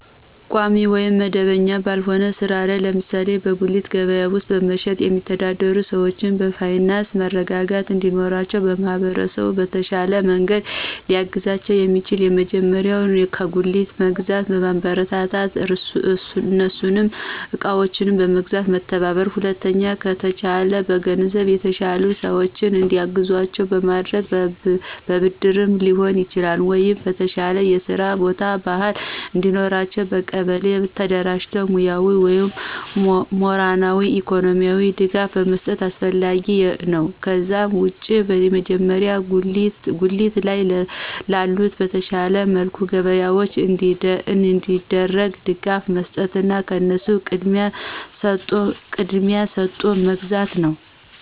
ቋሚ ወይም መደበኛ ባልሆነ ሥራ ላይ ለምሳሌ በጉሊት ገበያ ውስጥ በመሸጥ የሚተዳደሩ ሰዎች የፋይናንስ መረጋጋት እንዲኖራቸው ማህበረሰቡ በተሻለ መንገድ ሊያግዛቸው የሚችለው የመጀመሪያው ከጉልት በመግዛት ማበረታታትና እነሱን እቃዎችን በመግዛት መተባበር። ሁለተኛ ከተቻለ በገንዘብ የተሻሉ ሰዎች እንዲያግዟቸው በማድረግና በብድርም ሊሆን ይችላል ወይ የተሻለ የስራ ቦታ፣ ባህል እንዲኖራቸው በቀበሌ ደረጃ ሙያዊ ወይም ሞራላዊ፣ ኢኮኖሚካሊ ድጋፍ መስጠት አስፈላጊ ነው። ከዛ ውጭ የመጀመሪያው ጉሊት ላይ ላሉት በተሻለ መልኩ ገበያቸው እንዲያድግ ድጋፍ መስጠትና ከነሱ ቅድሚያ ሰጦ መግዛት ነው።